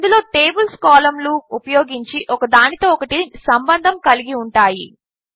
ఇందులో టేబిల్స్ కాలంలు ఉపయోగించి ఒకదానితో ఒకటి సంబంధము కలిగి ఉంటాయి